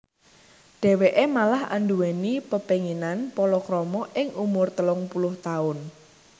Dhèwèké malah anduwèni pepénginan palakrama ing umur telung puluh taun